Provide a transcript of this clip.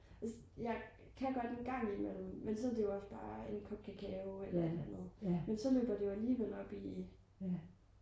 jeg kan godt en gang imellem men så er det jo også bare en kop kakao eller et eller andet men så løber det jo alligevel op i øh